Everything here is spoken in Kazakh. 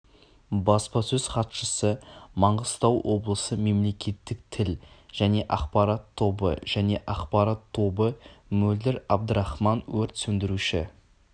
баспасөз хатшысы маңғыстау облысы мемлекеттік тіл және ақпарат тобы және ақпарат тобы мөлдір абдрахман өрт сөндіруші